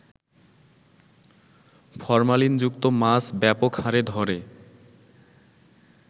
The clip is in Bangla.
ফরমালিনযুক্ত মাছ ব্যাপকহারে ধরে